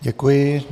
Děkuji.